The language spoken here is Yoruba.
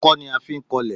Ọkọ́ ni a fí ń kọlẹ̀